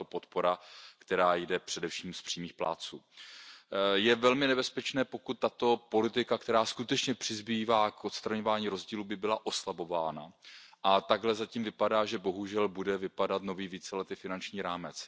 tato podpora, která jde především od přímých plátců. Je velmi nebezpečné, pokud tato politika, která skutečně přispívá k odstraňování rozdílů, by byla oslabována a takhle zatím vypadá, že bohužel bude vypadat nový víceletý finanční rámec.